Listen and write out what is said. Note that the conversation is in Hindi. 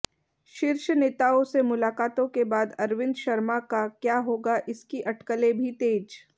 शीर्ष नेताओं से मुलाकातों के बाद अरविंद शर्मा का क्या होगा इसकी अटकलें भी तेज